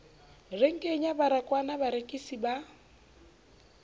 renkeng ya baragwanath barekisi ba